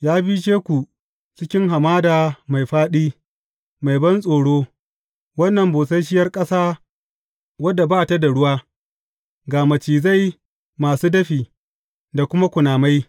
Ya bishe ku cikin hamada mai fāɗi, mai bantsoro, wannan busasshiyar ƙasa wadda ba ta da ruwa, ga macizai masu dafi da kuma kunamai.